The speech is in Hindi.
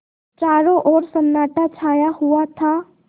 चारों ओर सन्नाटा छाया हुआ था